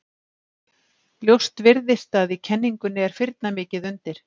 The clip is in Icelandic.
Ljóst virðist að í kenningunni er firna mikið undir.